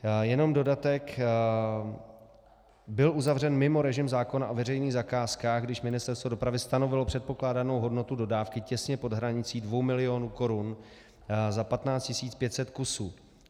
Jenom dodatek byl uzavřen mimo režim zákona o veřejných zakázkách, když Ministerstvo dopravy stanovilo předpokládanou hodnotu dodávky těsně pod hranicí 2 mil. korun za 15 500 kusů.